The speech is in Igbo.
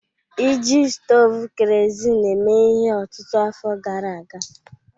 Iji stovu kerosene eme ihe ọtụtụ afọ gara aga